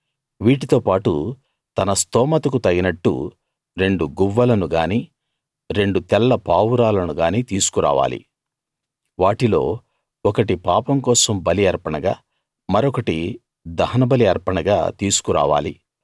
వీటితో పాటు తన స్తోమతుకు తగినట్టు రెండు గువ్వలను గానీ రెండు తెల్ల పావురాలను గానీ తీసుకు రావాలి వాటిలో ఒకటి పాపం కోసం బలి అర్పణగా మరొకటి దహనబలి అర్పణగా తీసుకురావాలి